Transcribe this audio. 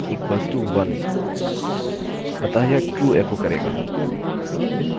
1 equals to 1 अतः यह true echo करेगा चलिए जाँचें